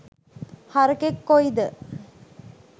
හරකෙක් කොයිද